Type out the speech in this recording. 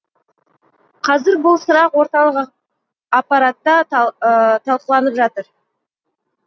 қазір бұл сұрақ орталық аппаратта талқыланып жатыр